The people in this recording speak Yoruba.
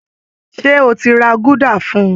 Ṣé o ti ra gúdà fún un?